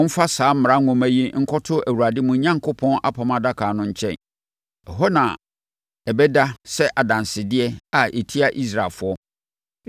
“Momfa saa Mmara Nwoma yi nkɔto Awurade, mo Onyankopɔn, apam adaka no nkyɛn. Ɛhɔ na ɛbɛda sɛ adansedeɛ a ɛtia Israelfoɔ.